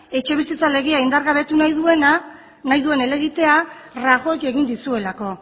etxebizitza legea indargabetu nahi duen helegitea rajoyk egin dizuelako